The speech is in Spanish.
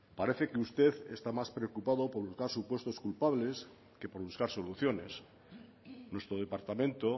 parece que usted está más preocupado por buscar supuestos culpables que por buscar soluciones nuestro departamento